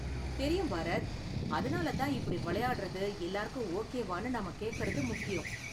தெரியும் பாரத், அதனால தான் இப்படி விளையாடுறது எல்லாருக்கும் ஓகேவானு நாம கேக்கறது முக்கியம்.